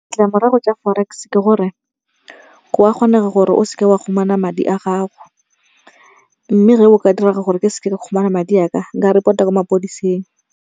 Ditlamorago tsa Forex ke gore kwa kgonega gore o seke wa khumana madi a gago, Mme ge go ka direga gore ke seke ka khumana madi a ka nka report-a kwa mapodiseng.